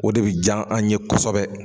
O de bɛ diya an ye kosɛbɛ.